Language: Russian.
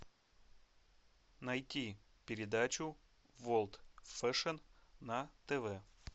найти передачу ворлд фэшн на тв